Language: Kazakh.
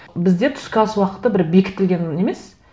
бізде түскі ас уақыты бір бекітілген не емес